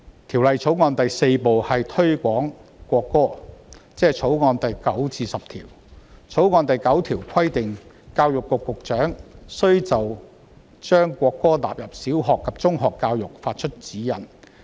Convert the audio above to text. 《條例草案》第4部推廣國歌，即《條例草案》第9至10條。《條例草案》第9條規定，教育局局長須就將國歌納入小學及中學教育發出指示。